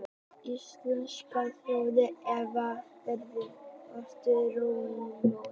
Íslenska þjóðin hefur verið ótrúlega þolinmóð